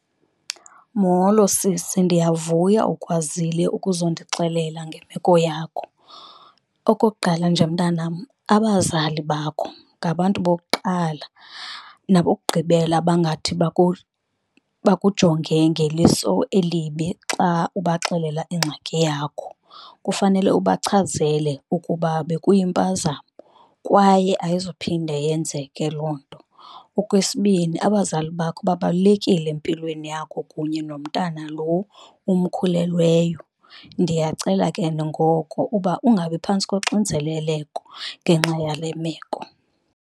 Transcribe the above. Molo sisi, ndiyavuya ukwazile ukuzondixelela ngemeko yakho. Okokuqala, nje mntanam abazali bakho ngabantu bokuqala nabokugqibela abangathi bakujonge ngeliso elibi xa ubaxelela ingxaki yakho. Kufanele ubachazele ukuba bekuyimpazamo kwaye ayizuphinde yenzeke loo nto. Okwesibini, abazali bakho babalulekile empilweni yakho kunye nomntana lo umkhulelweyo, ndiyacela ke ngoko uba ungabi phantsi koxinzeleleko ngenxa yale meko.